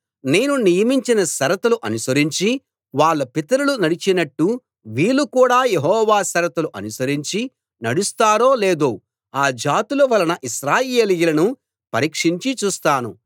నేను నియమించిన షరతులు అనుసరించి వాళ్ళ పితరులు నడిచినట్టు వీళ్ళు కూడా యెహోవా షరతులు అనుసరించి నడుస్తారో లేదో ఆ జాతుల వలన ఇశ్రాయేలీయులను పరీక్షింఛి చూస్తాను